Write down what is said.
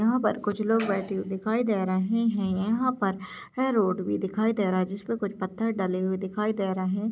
यहां पर कुछ लोग बैठे हुए दिखाई दे रहे हैं यहां पर ये रोड भी दिखाई दे रह है जिसपे कुछ पत्थर डले हुए दिखाई दे रहे --